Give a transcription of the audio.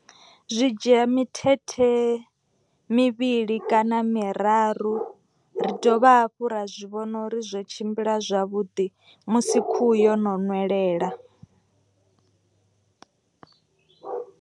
Zwi dzhia mithethe mivhili kana miraru. Ri dovha hafhu ra zwi vhona uri zwo tshimbila zwavhuḓi musi khuhu yo no nwelela.